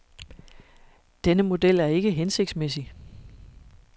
Denne model er ikke hensigtsmæssig.